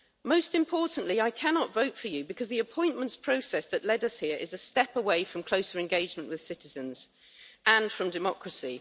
Most importantly, I cannot vote for you because the appointments process that led us here is a step away from closer engagement with citizens and from democracy.